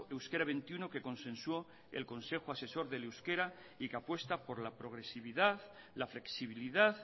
euskera veintiuno que consensuó el consejo asesor del euskera y que apuesta por la progresividad la flexibilidad